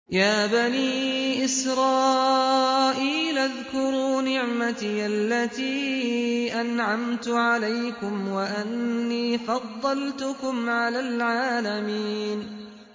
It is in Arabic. يَا بَنِي إِسْرَائِيلَ اذْكُرُوا نِعْمَتِيَ الَّتِي أَنْعَمْتُ عَلَيْكُمْ وَأَنِّي فَضَّلْتُكُمْ عَلَى الْعَالَمِينَ